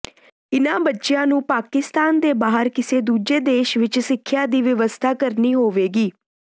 ਇਨ੍ਹਾਂ ਬੱਚਿਆਂ ਨੂੰ ਪਾਕਿਸਤਾਨ ਦੇ ਬਾਹਰ ਕਿਸੇ ਦੂਜੇ ਦੇਸ਼ ਵਿਚ ਸਿੱਖਿਆ ਦੀ ਵਿਵਸਥਾ ਕਰਨੀ ਹੋਵੇਗੀ